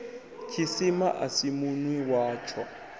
tshisima a si munwi watsho